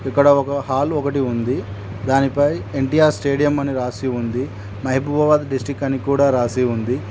ఇక్కడ ఒక హాల్ ఒకటి ఉంది దానిపై ఎన్టీఆర్ స్టేడియం అని రాసి ఉంది మహబూబాబాద్ డిస్టిక్ అని కూడా రాసి ఉంది.